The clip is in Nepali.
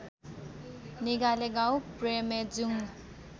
निगाले गाउँ प्रेमेजुङ्ग